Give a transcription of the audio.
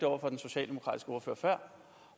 over for den socialdemokratiske ordfører